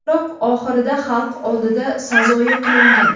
Biroq oxirida xalq oldida sazoyi qilingan.